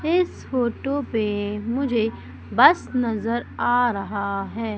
इस फोटो पे मुझे बस नजर आ रहा है।